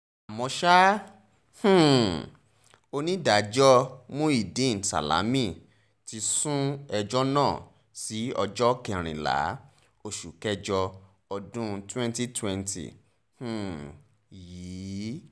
àmọ́ ṣá um onídàájọ́ muideen salami ti sún ẹjọ́ náà sí ọjọ́ kẹrìnlá oṣù kẹjọ ọdún twenty twenty um yìí